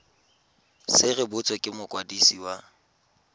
se rebotswe ke mokwadisi wa